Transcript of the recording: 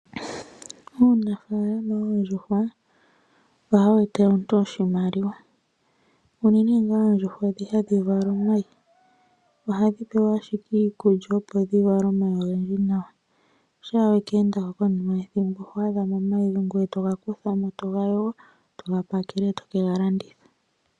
Uunafaalama woondjuhwa ohawu etele omuntu oshimaliwa, uunene ngaa oondjuhwa dhi hadhi vala omayi ohadhi pewa ashike iikulya opo dhivale omayi ogendji nawa, sha wakeendamo konima yethimbo oho adhamo omayi, ngoye togakutha mo, togayogo, togapakele, tokegalanditha.